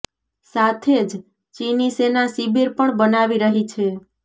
સાથે જ ચીની સેના શિબિર પણ બનાવી રહી છે